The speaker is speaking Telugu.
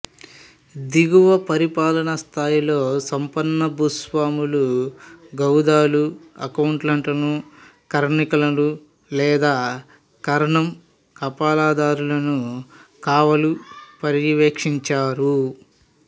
దిగువ పరిపాలనా స్థాయిలో సంపన్న భూస్వాములు గౌదాలు అకౌంటెంట్లను కరణికలు లేదా కరణం కాపలాదారులను కావలు పర్యవేక్షించారు